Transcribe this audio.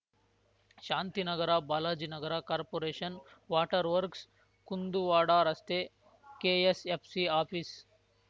ಶಾಂತಿ Nagar Balaji Nagar corporation water works Kunduvada ರಸ್ತೆ KSFC office